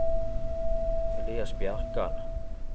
Elias Bjerkan